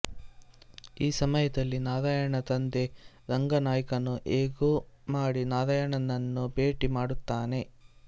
ಈ ಸಮಯದಲ್ಲಿ ನಾರಾಯಣನ ತಂದೆ ರಂಗನಾಯ್ಕನು ಹೇಗೋ ಮಾಡಿ ನಾರಾಯಣನನ್ನು ಭೇಟಿ ಮಾಡುತ್ತಾನೆ